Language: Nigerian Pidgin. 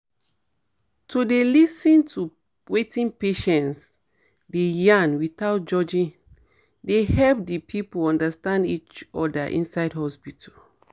to dey lis ten to wetin patient dey yarn without judging dey help di people understand each other inside hospital